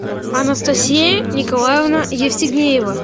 анастасия николаевна евстигнеева